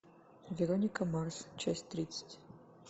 вероника марс часть тридцать